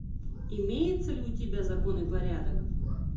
имеется ли у тебя закон и порядок